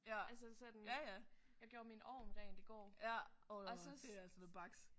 Altså sådan jeg gjorde min ovn rent i går og så